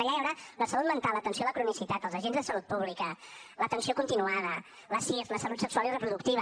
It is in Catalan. allà hi haurà la salut mental l’atenció a la cronicitat els agents de salut pública l’atenció continuada l’assir la salut sexual i reproductiva